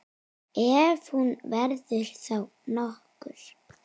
Ef hún verður þá nokkur.